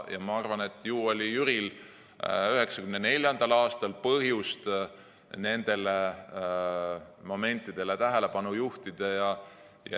Ma arvan, et ju oli Jüril 1994. aastal põhjust nendele momentidele tähelepanu juhtida.